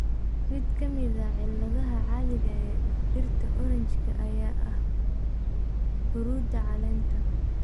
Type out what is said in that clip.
Mid ka mid ah cilladaha caadiga ah ee dhirta orange-ka ayaa ah huruudda caleenta.